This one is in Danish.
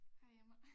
Hej Emma